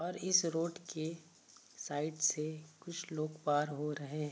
और इस रोड के साइड से कुछ लोग पार हो रहे --